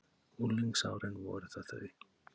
Unglingsárin voru það þau?